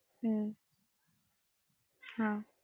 അഹ് ഉം